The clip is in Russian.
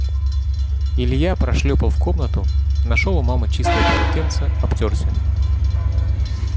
илья прошлёпал в комнату нашёл у мамы чистое полотенце обтёрся